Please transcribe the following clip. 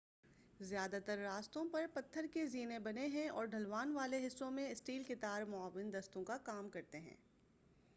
زیادہ تر راستوں پر پتھر کے زینے بنے ہیں اور ڈھلوان والے حصوں میں اسٹیل کے تار معاون دستوں کا کام کرتے ہیں